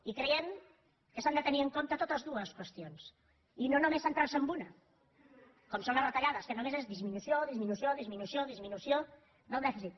i creiem que s’han de tenir en compte totes dues qüestions i no només centrar se en una com són les retallades que només és disminució disminució disminució disminució del dèficit